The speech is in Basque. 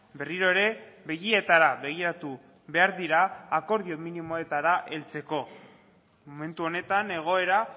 berriro ere begietara begiratu behar dira akordio minimoetara heltzeko momentu honetan egoera